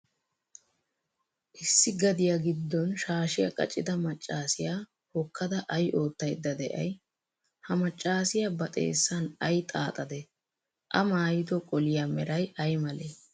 Issi gadiya giddon shaashiyaa qacida maccaasiyaa hokkada ay oottaydda de'ay? Ha maccaasiyaa ba xeessan ay xaaxadee? A maayido qoliyaa meray ay malee?